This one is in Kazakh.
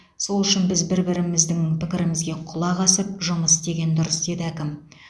сол үшін біз бір біріміздің пікірімізге құлақ асып жұмыс істеген дұрыс деді әкім